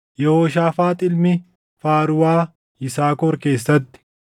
Yehooshaafaax ilmi Faaruuwaa, Yisaakor keessatti;